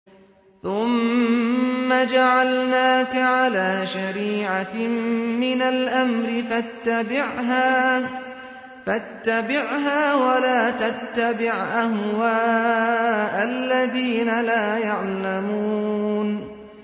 ثُمَّ جَعَلْنَاكَ عَلَىٰ شَرِيعَةٍ مِّنَ الْأَمْرِ فَاتَّبِعْهَا وَلَا تَتَّبِعْ أَهْوَاءَ الَّذِينَ لَا يَعْلَمُونَ